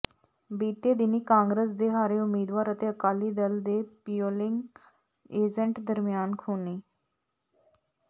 ਬੀਤੇ ਦਿਨੀਂ ਕਾਂਗਰਸ ਦੇ ਹਾਰੇ ਉਮੀਦਵਾਰ ਅਤੇ ਅਕਾਲੀ ਦਲ ਦੇ ਪੋਿਲੰਗ ਏਜੰਟ ਦਰਮਿਆਨ ਖੂਨੀ